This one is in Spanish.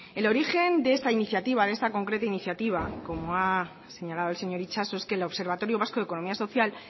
el origen de esta iniciativa de esta concreta iniciativa como ha señalado el señor itxaso es que el observatorio vasco economía social